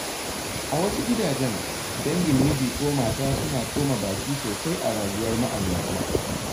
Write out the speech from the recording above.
A wasu gidajen, dangin miji ko mata suna tsoma baki sosai a rayuwar ma’aurata.